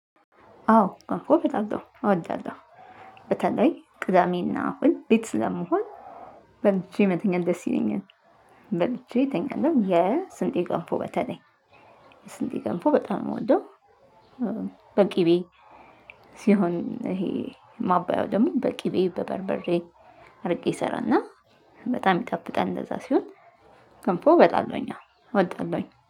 አዎ ገንፎ በላለሁ እወዳለሁ በተለይ ቅዳሜ እና እሁድ ቤት ስለምሆን በልቼ መተኛት ደስ ይለኛል። በልቼ ተኛለሁ የስንዴ ገንፎ በተለይ ስንዴ ገንፎ በጣም ነው ምወደው። በቂቤ ሲሆን ይሄ ማባያው ደግሞ በቂቤ በበርበሬ አድርጌ እሰራና በጣም ይጠፍጣል። እንደዛ ሲሆን ገንፎ በጣለሁኝ እወዳለሁኝ